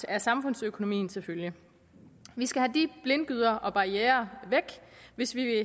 af samfundsøkonomien til følge vi skal have de blindgyder og barrierer væk hvis vi vil